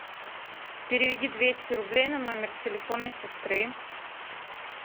переведи двести рублей на номер телефона сестры